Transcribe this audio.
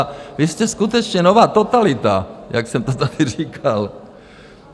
A vy jste skutečně nová totalita, jak jsem to tady říkal.